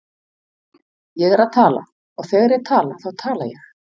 Ég er að tala og þegar ég tala þá tala ég.